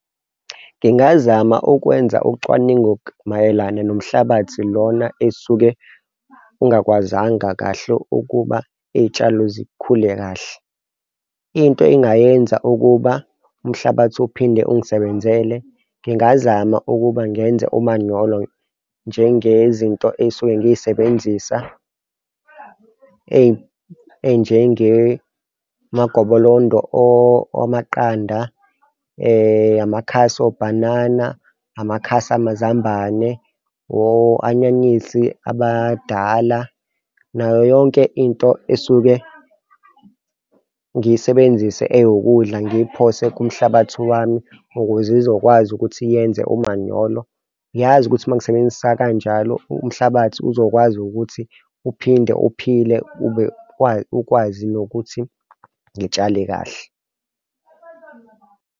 Ngingazama ukwenza ucwaningo mayelana nomhlabathi lona esisuke ungakwazanga kahle ukuba iy'tshalo zikhule kahle. Into engayenza ukuba umhlabathi uphinde ungisebenzele ngingazama ukuba ngenze umanyolo njengezinto ey'suke ngiy'sebenzisa ey'njenge magobolondo amaqanda, amakhasi obhanana, amakhasi amazambane o-anyanisi abadala nayo yonke into esuke ngiyisebenzisa ewukudla, ngiphose kumhlabathi wami ukuze izokwazi ukuthi yena enze omanyolo. Ngiyazi ukuthi mangisebenzisa kanjalo umhlabathi uzokwazi ukuthi uphinde uphile ukwazi nokuthi ngitshale kahle.